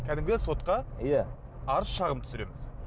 кәдімгі сотқа иә арыз шағым түсіреміз